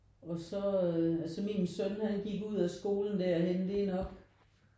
Og så altså min søn han gik ud af skolen derhenne det er nok